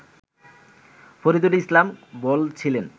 ফরিদুল ইসলাম বলছিলেন